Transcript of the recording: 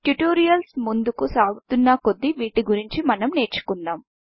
tutorials ముందుకు సాగుతున్న కొద్దీ వీటి గురించి మనం నేర్చుకుంటాం